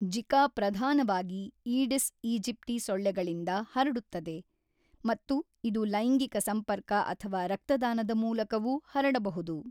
Zika ಪ್ರಧಾನವಾಗಿ Aedes aegypti ಸೊಳ್ಳೆಗಳಿಂದ ಹರಡುತ್ತದೆ ಮತ್ತು ಇದು ಲೈಂಗಿಕ ಸಂಪರ್ಕ ಅಥವಾ ರಕ್ತದಾನದ ಮೂಲಕವೂ ಹರಡಬಹುದು.